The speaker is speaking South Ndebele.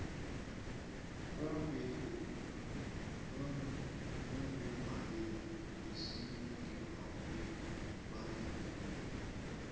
umbeki mumongameli wesibili ngemvakwebandlululo